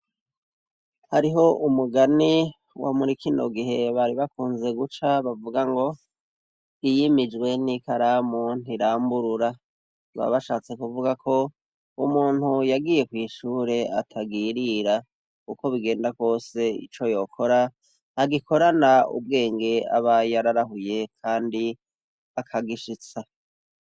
Hariho umugani wo murikino gihe bari bakunze guca bavuga ngo, iyimijwe n'ikaramu ntiramburura ,baba bashatse kuvuga ko umuntu yagiye kw' ishure atagirira, uko bigenda kose ico yokora agikorana ubwenge aba yararahuye kandi akagishitsa.